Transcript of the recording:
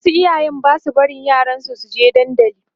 wasu iyayen Basu barin yaran su suke dandali